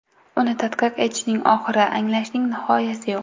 Uni tadqiq etishning oxiri, anglashning nihoyasi yo‘q.